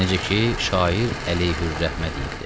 Necə ki, şair əleyhür-rəhmə deyibdir.